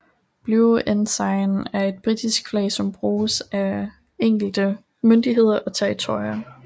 Blue Ensign er et britisk flag som bruges af enkelte myndigheder og territorier